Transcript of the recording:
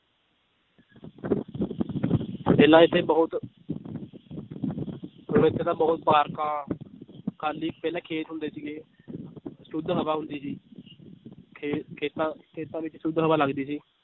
ਪਹਿਲਾਂ ਇੱਥੇ ਬਹੁਤ ਹੁਣ ਇੱਥੇ ਤਾਂ ਬਹੁਤ ਪਾਰਕਾਂ ਖਾਲੀ ਪਹਿਲਾਂ ਖੇਤ ਹੁੰਦੇ ਸੀਗੇ ਸੁੱਧ ਹਵਾ ਹੁੰਦੀ ਸੀ ਤੇ ਖੇਤਾਂ ਖੇਤਾਂ ਵਿੱਚ ਸੁੱਧ ਹਵਾ ਲੱਗਦੀ ਸੀ